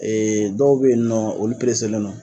dɔw bɛ ye ni nɔ olu len.